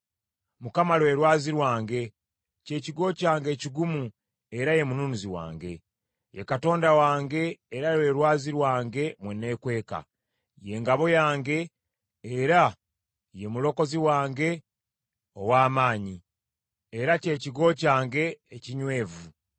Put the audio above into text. Mukama lwe lwazi lwange, ky’ekigo kyange ekigumu era ye mununuzi wange, ye Katonda wange era lwe lwazi lwange mwe neekweka; ye ngabo yange era ye mulokozi wange ow’amaanyi, era kye kigo kyange ekinywevu.